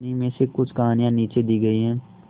उन्हीं में से कुछ कहानियां नीचे दी गई है